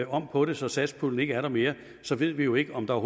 om på det så satspuljen ikke er der mere så ved vi jo ikke om der